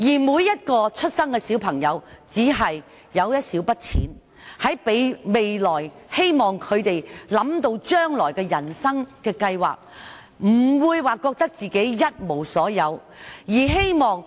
每位出生的小朋友也只是有一小筆錢，讓他們未來想到人生計劃時，不會覺得自己一無所有。